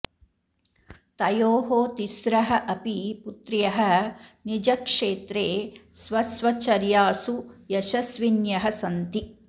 तयोः तिस्रः अपि पुत्र्यः निजक्षेत्रे स्वस्वचर्यासु यशस्विन्यः सन्ति